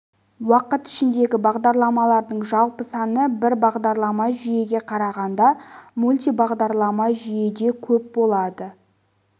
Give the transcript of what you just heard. уақыт ішіндегі бағдарламалардың жалпы саны бір бағдарламалы жүйеге қарағанда мультибағдарламалы жүйеде көп болады